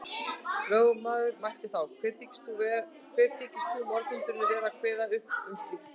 Lögmaður mælti þá: Hver þykist þú, morðhundurinn, vera að kveða upp um slíkt.